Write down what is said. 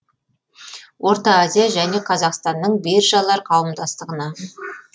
орта азия және қазақстанның биржалар қауымдастығына